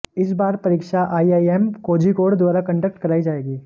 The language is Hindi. इस बार परीक्षा आईआईएम कोझिकोड़ द्वारा कंडक्ट कराई जाएगी